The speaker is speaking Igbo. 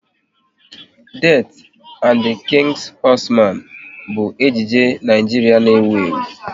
"Death and the King's Horseman" bụ ejije Naijiria na-ewu ewu